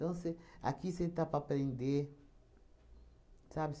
Então você, aqui você está para aprender, sabe?